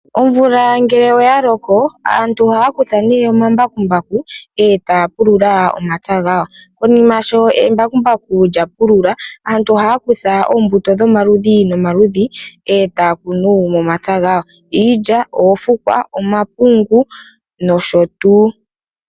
Omvula ngele oya loko aantu ohaya kutha nee omambakumbaku etaya pulula momapya gawo. Konima sho embakumbaku embakumbaku lya pulula, aantu ohaya kutha oombuto dhomaludhi nomaludhi etaya kunu momapya gawi iilya ,oofukwa, omapungu nosho tuu.